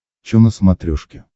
чо на смотрешке